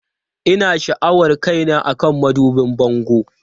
Ina sha'awar kaina akan madubin bango.